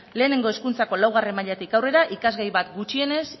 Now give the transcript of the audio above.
lehenengo hezkuntzako laugarren mailatik aurrera ikasgai bat gutxienez